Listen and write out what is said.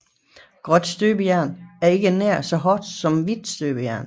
Gråt støbejern er ikke nær så hårdt som hvidt støbejern